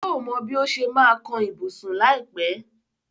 Yóò mọ bí ó ṣe máa ma kan ibùsùn láìpẹ́.